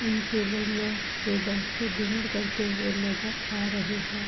इन table मैंच पे बैठकर डिनर करते हुए नजर आ रहे है।